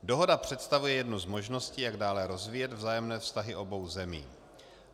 Dohoda představuje jednu z možností, jak dále rozvíjet vzájemné vztahy obou zemí.